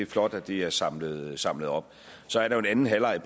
flot at det er samlet samlet op så er der en anden halvleg